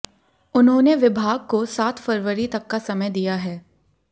उन्होंने विभाग को सात फरवरी तक का समय दिया है